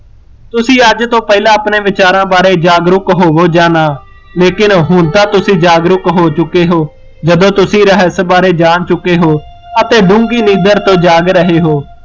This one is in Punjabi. ਤੁਸੀਂ ਅੱਜ ਤੋਂ ਪਹਿਲਾਂ ਆਪਣੇ ਵਿਚਾਰਾ ਬਾਰੇ ਜਾਗਰੂਕ ਹੋਵੋ ਯਾ ਨਾ, ਲੇਕਿਨ ਹੁਣ ਤਾਂ ਤੁਸੀਂ ਜਾਗਰੂਕ ਹੋ ਚੁੱਕੇ ਹੋ, ਜਦੋਂ ਤੁਸੀਂ ਰਹੱਸ ਬਾਰੇ ਜਾਣ ਚੁੱਕੇ ਹੋ, ਅਤੇ ਡੂੰਗੀ ਨੀਂਦਰ ਤੋਂ ਜਾਗ ਰਹੇ ਹੋ